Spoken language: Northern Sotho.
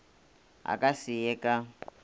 a ka se ye ka